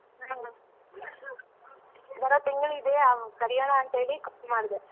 ಹ್ಮ ಬರೋ ತಿಂಗ್ಳಿದೆ ಕರ್ಯಣ ಅಂತ್ ಹೇಳಿ call ಮಾಡ್ದೆ.